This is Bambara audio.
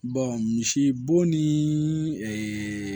misibo ni